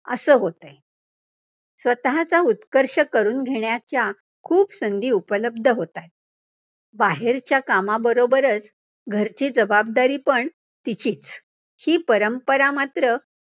असं होतयं. स्वतःचा उत्कर्ष करून घेण्याच्या खूप संधी उपलब्ध होतात, बाहेरच्या कामबरोबरचं घरची जबाबदारी पण तिचीच, ही परंपरा मात्र